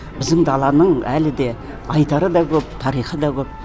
біздің даланың әлі де айтары да көп тарихы да көп